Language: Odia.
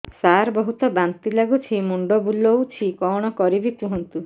ସାର ବହୁତ ବାନ୍ତି ଲାଗୁଛି ମୁଣ୍ଡ ବୁଲୋଉଛି କଣ କରିବି କୁହନ୍ତୁ